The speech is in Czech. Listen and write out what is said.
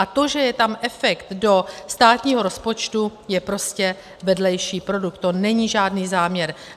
A to, že je tam efekt do státního rozpočtu, je prostě vedlejší produkt, to není žádný záměr.